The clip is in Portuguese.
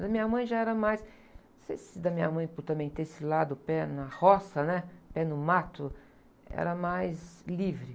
Da minha mãe já era mais... Não sei se da minha mãe, por também ter esse lado, pé na roça, né? Pé no mato, era mais livre.